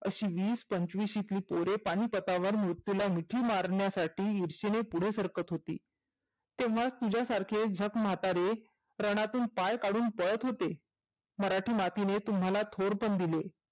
आशी विस पंचविशीतली पोरं पानीपतावर मृत्युला मिठी मारण्यासाठी इर्शेने पुढे सरकत होती. तेव्हाच तुझ्यासारखे झक म्हतारे रनातून पाय काढून पळत होते. मराठी मातीने तुम्हाला थोरपण दिले.